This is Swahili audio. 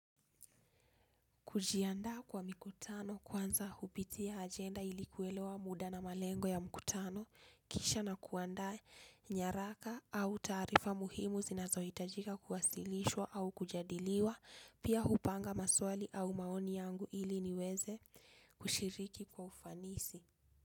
Kujiandaa kwa mikutano kwanza hupitia ajenda ili kuelewa muda na malengo ya mkutano, kisha na kuandaa nyaraka au taarifa muhimu zinazohitajika kuwasilishwa au kujadiliwa, pia hupanga maswali au maoni yangu ili niweze kushiriki kwa ufanisi.